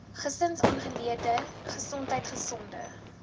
gesinsaangeleenthede gesondheid gesonde